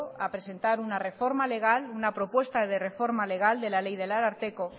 a presentar una reforma legal una propuesta de reforma legal de la ley del ararteko